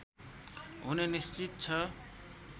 हुने निश्चित छ